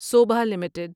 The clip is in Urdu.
سوبھا لمیٹڈ